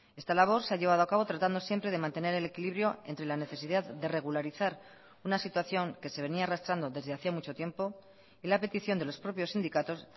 esta labor se ha llevado a cabo tratando siempre de mantener el equilibrio entre la necesidad de regularizar una situación que se venía arrastrando desde hacía mucho tiempo y la petición de los propios sindicatos